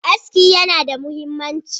Aski yana da muhimmanci.